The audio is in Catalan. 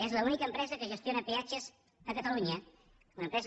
és l’única empresa que gestiona peatges a catalunya una empresa